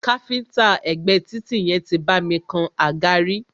Káfíńńtà ẹ̀gbé títì yẹn tí bá mi kan àga rí.